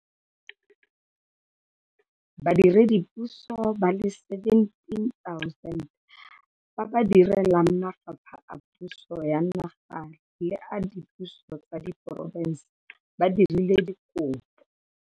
Badiredipuso ba le 17 000 ba ba direlang mafapha a puso ya naga le a dipuso tsa diporofense ba dirile dikopo